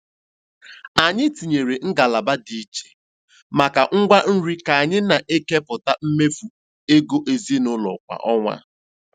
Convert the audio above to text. Anyị tinyere ngalaba dị iche maka ngwa nri ka anyị na-ekepụta mmefu ego ezinụlọ kwa ọnwa.